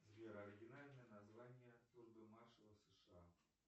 сбер оригинальное название службы маршала в сша